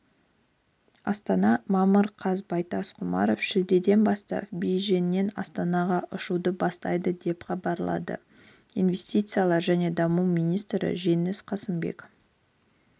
астана мамыр қаз байтас құрманов шілдеден бастап бейжіңнен астанаға ұшуды бастайды деп хабарлады инвестициялар және даму министрі жеңіс қасымбек